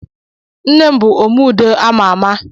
Nne m bù "Omé ùdó" a ma ámá